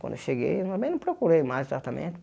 Quando eu cheguei, eu também não procurei mais tratamento.